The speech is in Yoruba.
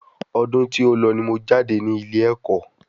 Ọdún tí o lọ ni mo jáde nílé ẹ̀kọ́